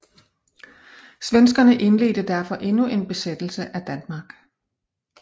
Svenskerne indledte derfor endnu en besættelse af Danmark